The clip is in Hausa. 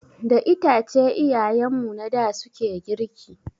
Da itace iyayen mu na da suke girki.